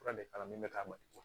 Fura de kalan ne bɛ k'a ma